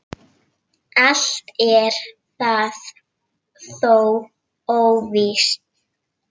Allt er það þó óvíst.